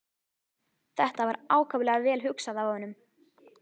Þetta var ákaflega vel hugsað af honum.